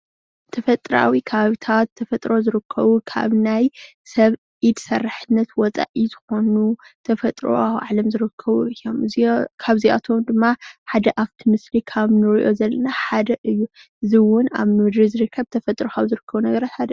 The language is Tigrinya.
ተፈጥራዊ ኸባብታት ተፈጥሮ ዝርከቡ ካብ ናይ ሰብ ኢድ ሰራሕነት ወፃኢ ዝኮኑ ተፈጥሮኣዊ ዓለም ዝርከቡ እዮም ካብዚኣቶም ድማ ሓደ ኣብቲ ምስሊ ካብ ንርእዮ ዘለና ሓደ እዩ እዚ እውን ኣብ ምድሪ ዝርከብ ተፈጥሮ ካብ ዝርከቡ ሓደ እዩ